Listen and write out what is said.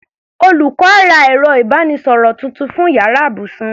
Olùkọ́ á ra ẹ̀rọ ìbánisọ̀rọ̀ tuntun fún yàrá ibùsùn wọn.